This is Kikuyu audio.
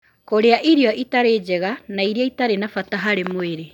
Kũrĩa irio itarĩ njega na iria itarĩ na bata harĩ mwĩrĩ